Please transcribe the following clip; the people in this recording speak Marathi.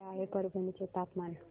काय आहे परभणी चे तापमान